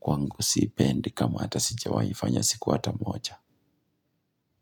kwangu siipendi kamwe, hata sijiwai fanya siku hata moja.